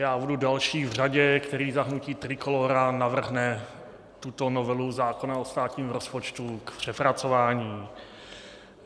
Já budu další v řadě, který za hnutí Trikolóra navrhne tuto novelu zákona o státním rozpočtu k přepracování.